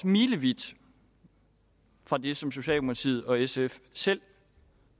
milevidt fra det som socialdemokratiet og sf selv